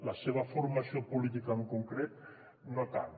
la seva formació política en concret no tant